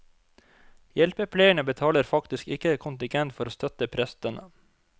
Hjelpepleierne betaler faktisk ikke kontingent for å støtte prestene.